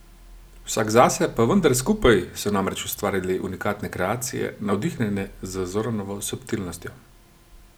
Vsak zase pa vendar skupaj so namreč ustvarili unikatne kreacije, navdihnjene z Zoranovo subtilnostjo.